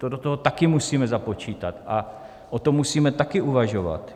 To do toho taky musíme započítat a o tom musíme taky uvažovat.